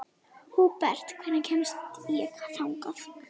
Húbert, hvernig kemst ég þangað?